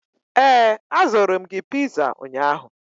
ee, azụrụ m gị piza ụnyahụ